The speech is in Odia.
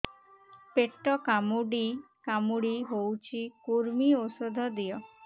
ପେଟ କାମୁଡି କାମୁଡି ହଉଚି କୂର୍ମୀ ଔଷଧ ଦିଅ